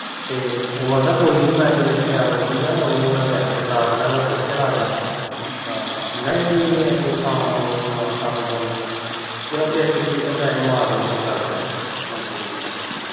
ਤੇ ਉਹ ਕਹਿੰਦਾ ਜਿਨੇ ਦੀ tall ਆਉਂਦੀ ਆ ਉਨੇ ਦੀ ਮੈ ਪੂਟ ਕੇ ਲਾ ਦਿੰਦਾ ਆ ਨਹੀ ਇਹ ਕੰਮ ਉਹ ਆ ਕੰਮ ਚ ਉਹ ਆ ਜਦੋ ਕਿਸੇ ਗਰੀਬ ਦੇ ਪੈਹੇ ਮਾਰਨੇ ਹੋਣ ਗੱਲ ਸਾਰੀ ਹਾਜੀ ਹਾਜੀ